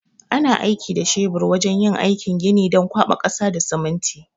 Ana aiki da shebur wajan yin aikin gini don kwaɓa ƙasa da siminti